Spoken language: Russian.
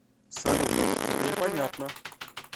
салют теперь понятно